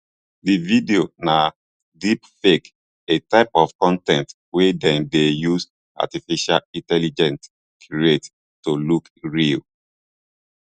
di video na deepfake a type of con ten t wey dem dey use artificial intelligence create to look real